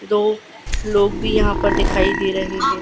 दो लोग भी यहां पर दिखाई दे रहे हैं।